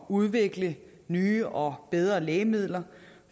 udvikle nye og bedre lægemidler